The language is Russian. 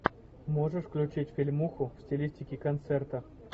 можешь включить фильмуху в стилистике концерта